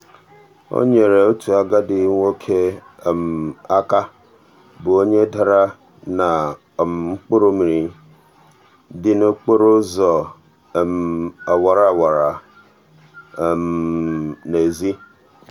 o nyeere otu agadi nwoke aka bụ onye dara na um mkpụrụmmiri dị n'okporoụzọ awara awa n'ezi. n'ezi.